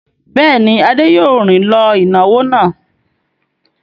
Bẹ́ẹ̀ ni, Adé yóò rìn lọ ìnáwó náà.